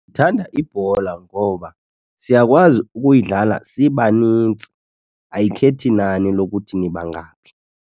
Ndithanda ibhola ngoba siyakwazi ukuyidlala sibanintsi, ayikhethi nani lokuthi nibangaphi.